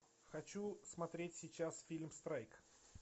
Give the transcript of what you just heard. хочу смотреть сейчас фильм страйк